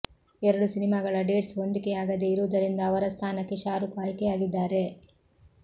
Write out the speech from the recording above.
ಎರಡು ಸಿನಿಮಾಗಳ ಡೇಟ್ಸ್ ಹೊಂದಿಕೆಯಾಗದೇ ಇರುವುದರಿಂದ ಅವರ ಸ್ಥಾನಕ್ಕೆ ಶಾರುಕ್ ಆಯ್ಕೆಯಾಗಿದ್ದಾರೆ